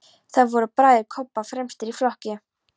Þar voru bræður Kobba fremstir í flokki.